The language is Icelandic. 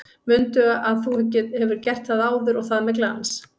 Mundu að þú hefur gert það áður og það með glans!